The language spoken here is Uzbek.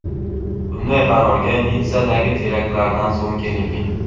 Bunday qarorga Nitssadagi teraktlardan so‘ng kelingan.